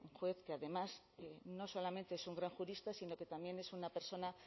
juez que además no solamente es un gran jurista sino que también es una persona